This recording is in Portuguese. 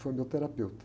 Foi meu terapeuta.